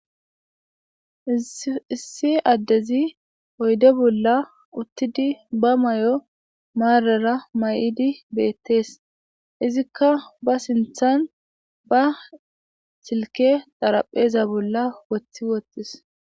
Issi addey oyde bolla uttidi oyde bolla marara mayidi betes izika ba sinthan ba silke xarapheza bolla wothi wothides